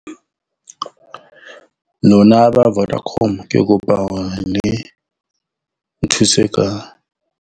Lona ba Vodacom, ke kopa hore le nthuse ka.